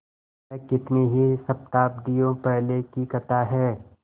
यह कितनी ही शताब्दियों पहले की कथा है